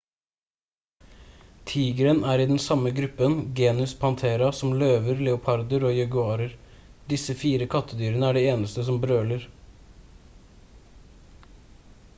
tigeren er i den samme gruppen genus panthera som løver leoparder og jaguarer. disse 4 kattedyrene er de eneste som brøler